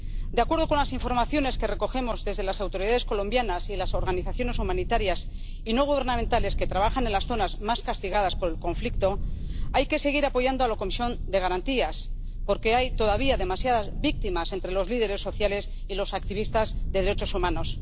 De acuerdo con las informaciones que recogemos desde las autoridades colombianas y las organizaciones humanitarias y no gubernamentales que trabajan en las zonas más castigadas por el conflicto, hay que seguir apoyando a la Comisión de Garantías, porque hay todavía demasiadas víctimas entre los líderes sociales y los activistas de derechos humanos.